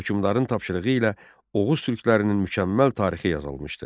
Hökmdarın tapşırığı ilə Oğuz Türklərinin mükəmməl tarixi yazılmışdı.